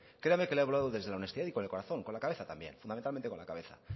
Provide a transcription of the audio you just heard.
créame que le he hablado desde la honestidad y con el corazón con la cabeza también fundamentalmente con la cabeza